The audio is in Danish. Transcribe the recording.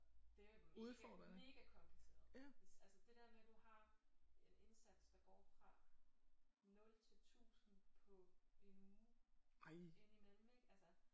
Det er mega mega kompliceret altså det der med du har en indsats der går fra 0 til 1000 på en uge indimellem ik altså